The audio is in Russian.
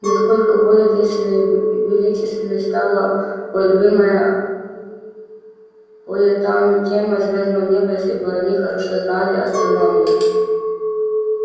насколько более действенной и величественной стала бы любимая поэтами тема звёздного неба если бы они хорошо знали астрономию